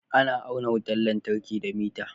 Ana auna wutar lantarki da miter